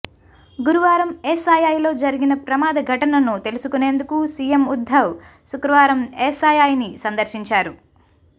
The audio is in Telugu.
గురువారం ఎస్ఐఐలో జరిగిన ప్రమాద ఘటనను తెలుసుకునేందుకు సీఎం ఉద్ధవ్ శుక్రవారం ఎస్ఐఐని సందర్శించారు